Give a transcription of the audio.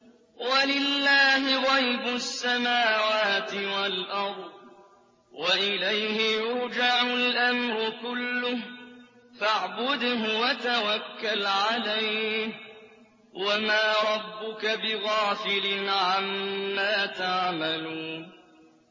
وَلِلَّهِ غَيْبُ السَّمَاوَاتِ وَالْأَرْضِ وَإِلَيْهِ يُرْجَعُ الْأَمْرُ كُلُّهُ فَاعْبُدْهُ وَتَوَكَّلْ عَلَيْهِ ۚ وَمَا رَبُّكَ بِغَافِلٍ عَمَّا تَعْمَلُونَ